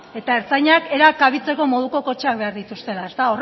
eta ertzainak era kabitzeko moduko kotxeak behar dituztela ezta